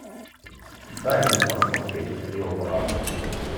дай мне посмотреть рио браво